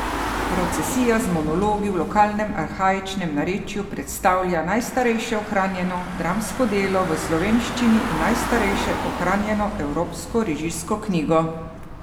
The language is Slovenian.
Procesija z monologi v lokalnem arhaičnem narečju predstavlja najstarejše ohranjeno dramsko delo v slovenščini in najstarejšo ohranjeno evropsko režijsko knjigo.